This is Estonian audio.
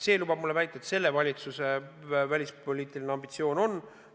See lubab mul väita, et selle valitsuse välispoliitiline ambitsioon on kõrge.